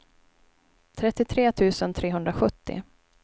trettiotre tusen trehundrasjuttio